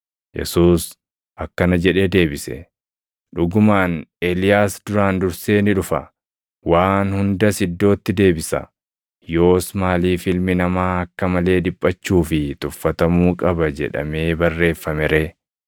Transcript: Yesuus akkana jedhee deebise; “Dhugumaan Eeliyaas duraan dursee ni dhufa; waan hundas iddootti deebisa. Yoos maaliif Ilmi Namaa akka malee dhiphachuu fi tuffatamuu qaba jedhamee barreeffame ree?